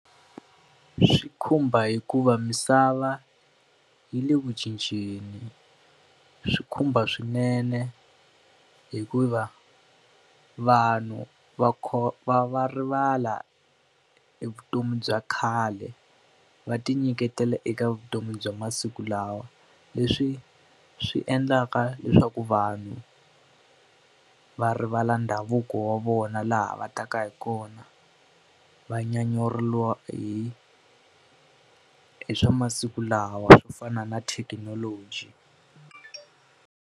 Swi khumba hikuva misava yi le ku cinceni, swi khumba swinene hikuva vanhu va va rivala hi vutomi bya khale va ti nyiketela eka vutomi bya masiku lawa. Leswi swi endlaka leswaku vanhu va rivala ndhavuko wa vona, laha va taka hi kona. Va nyanyuriwa hi hi swa masiku lawa ku fana na thekinoloji.